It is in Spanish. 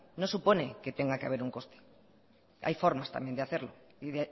no supone que tenga que haber un coste hay formas también de hacerlo y